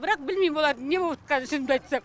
бірақ білмеймін олардың не боватқанын шынымды айтсам